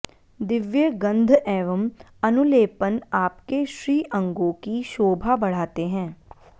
दिव्य गन्ध एवं अनुलेपन आपके श्रीअंगोकी शोभा बढाते हैं